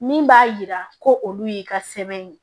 Min b'a yira ko olu y'i ka sɛbɛn ye